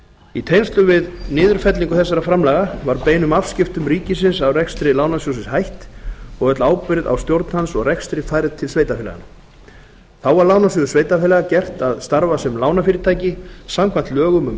í tengslum við niðurfellingu þessara framlaga var beinum afskiptum ríkisins af rekstri lánasjóðsins hætt og öll ábyrgð á stjórn hans og rekstri færð til sveitarfélaganna þá var lánasjóði sveitarfélaga gert að starfa sem lánafyrirtæki samkvæmt lögum um